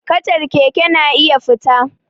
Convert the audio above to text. Kacar keke na iya fita